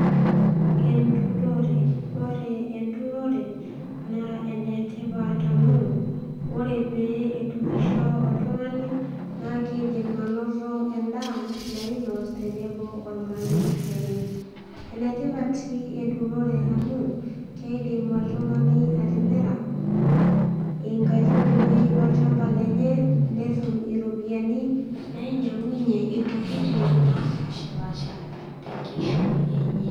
Enturore . Ore enturore naa enetipat amu ore pee naa kidim ainosa endaa nainos tenebo ormarei lenye . Enetipat sii enturore amu keidim oltungani atimira inkaitubului olchamba lenye ,netum iropiyiani nainyiangunyie ntokitin napashapasha tenkishui enye .